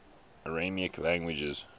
aramaic languages